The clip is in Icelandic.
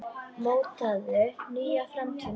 Mótaðu nýja framtíð með okkur!